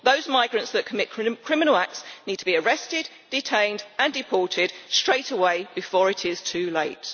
Those migrants that commit criminal acts need to be arrested, detained and deported straightaway before it is too late.